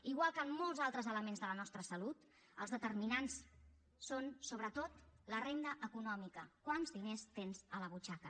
igual que en molts altres elements de la nostra salut els determinants són sobretot la renda econòmica quants diners tens a la butxaca